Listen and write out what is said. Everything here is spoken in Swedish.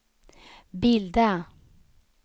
bilda